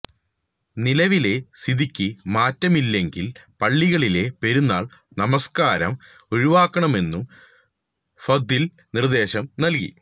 നിലവിലെ സ്ഥിതിക്ക് മാറ്റമില്ലെങ്കില് പള്ളികളിലെ പെരുന്നാള് നമസ്കാരം ഒഴിവാക്കാമെന്നും ഫത്വയില് നിര്ദ്ദേശം നല്കി